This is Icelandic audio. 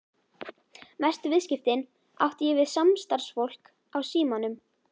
Mestu viðskiptin átti ég við samstarfsfólk á Símanum.